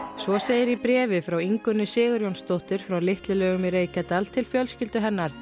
svo segir í bréfi frá Ingunni Sigurjónsdóttur frá Litlu Laugum í Reykjadal til fjölskyldu hennar